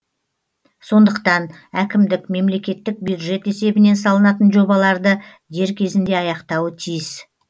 сондықтан әкімдік мемлекеттік бюджет есебінен салынатын жобаларды дер кезінде аяқтауы тиіс